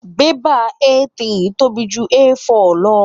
Bẹ́bà A3 tóbi ju A4 lọ.